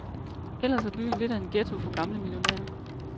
Ellers er byen lidt af en ghetto for gamle millionærer.